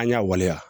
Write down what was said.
An y'a waleya